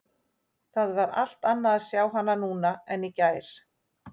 Það var allt annað að sjá hana núna en í gær.